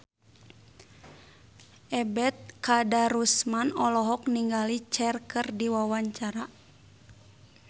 Ebet Kadarusman olohok ningali Cher keur diwawancara